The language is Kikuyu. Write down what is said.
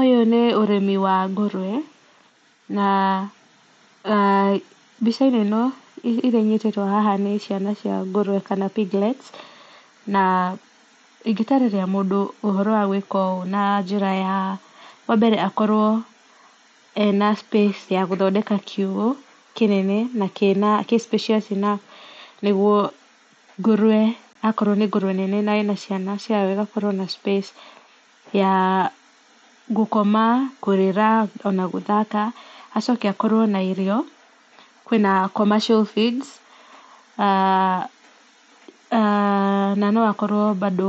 Ũyũ nĩ ũrĩmi wa ngũrwe na mbica-inĩ ĩno iria inyitĩtwo haha nĩ ciana cia ngũrwe kana piglets, na ingĩ tarĩria mũndũ ũhoro wa gwĩka ũũ na njĩra ya wa mbere akorwo ena space ya gũthondeka kiugũ na kĩnene gĩ spacious enough, nĩguo ngũrwe na akorwo ĩna ciana ciayo ĩgakorwo na space ya gũkoma, kũrĩra na gũthaka, acoke akorwo na irio kwĩna commercial feeds aah na no akorwo bado